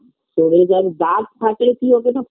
শনিবার bus থাকে কি ও যেন